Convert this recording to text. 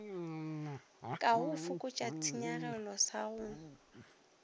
ka fokotšago tshenyagelo sa go